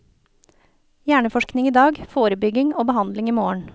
Hjerneforskning i dag, forebygging og behandling i morgen.